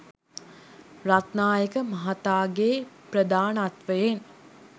රත්නායක මහතාගේ ප්‍රධානත්වයෙන්